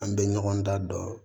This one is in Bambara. An bɛ ɲɔgɔn da don